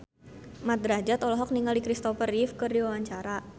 Mat Drajat olohok ningali Christopher Reeve keur diwawancara